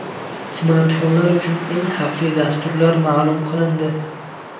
Smartfonlar uchun eng xavfli dasturlar ma’lum qilindi.